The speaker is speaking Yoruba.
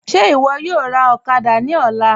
Ṣe iwọ yọ̀ọ́ rá òkàdà ní ọ̀là?